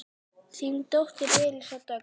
Þín dóttir Elísa Dögg.